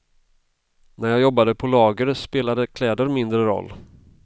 När jag jobbade på lager spelade kläder mindre roll.